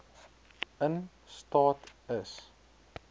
in staat is